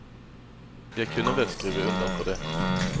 Jeg kunne vel skrive under på det.